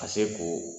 Ka se k'o